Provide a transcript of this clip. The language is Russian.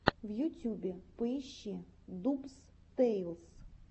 в ютюбе поищи дубс тэйлс